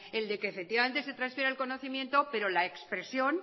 el de que se transfiera el conocimiento pero la expresión